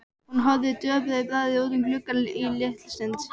Hún horfði döpur í bragði út um gluggann litla stund.